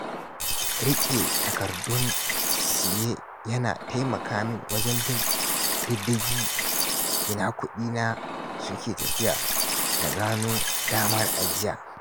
Riƙe takardun siye yana taimaka min wajen bin diddigin inda kuɗina suke tafiya da gano damar ajiya.